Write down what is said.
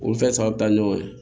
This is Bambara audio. Olu fɛn saba bɛ taa ɲɔgɔn ye